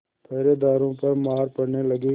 पहरेदारों पर मार पड़ने लगी